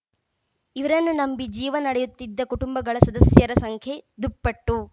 ಇವರನ್ನು ನಂಬಿ ಜೀವನ ನಡೆಯುತ್ತಿದ್ದ ಕುಟುಂಬಗಳ ಸದಸ್ಯರ ಸಂಖ್ಯೆ ದುಪ್ಪಟ್ಟು